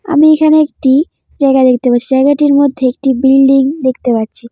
আমি এখানে একটি জায়গা দেখতে পাচ্ছি জায়গাটির মধ্যে একটি বিল্ডিং দেখতে পাচ্ছি।